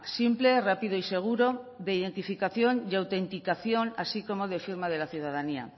simple rápido y seguro de identificación y autenticación así como de firma de la ciudadanía